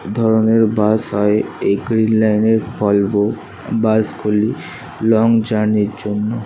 এ ধরনের বাস হয় এই গ্রীন লাইনের ভলভো বাস গুলি লং জার্নির জন্য।